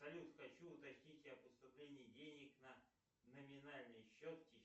салют хочу уточнить о поступлении денег на номинальный счет